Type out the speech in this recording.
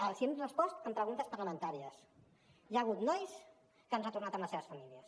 els hi hem respost en preguntes parlamentàries hi ha hagut nois que han retornat amb les seves famílies